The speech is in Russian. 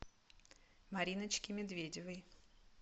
мариночке медведевой